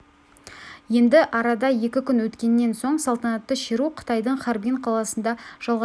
енді арада екі күн өткеннен соң салтанатты шеру қытайдың харбин қаласында жалғасады ал қыркүйекте алау ресейге